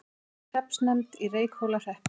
Ný hreppsnefnd í Reykhólahreppi